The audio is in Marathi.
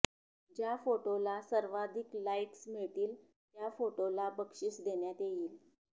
ज्या फोटोला सर्वाधिक लाईक्स मिळतील त्या फोटोला बक्षिस देण्यात येईल